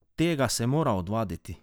Tega se mora odvaditi.